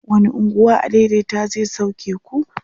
wani unguwa adaidaita zai sauke ku?